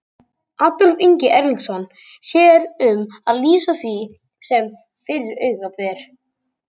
Adolf Ingi Erlingsson sér um að lýsa því sem fyrir augu ber.